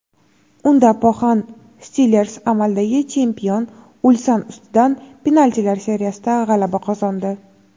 Unda "Poxan Stilers" amaldagi chempion "Ulsan" ustidan penaltilar seriyasida g‘alaba qozondi.